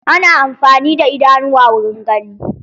Ana amfani da idanuwa wurin gani.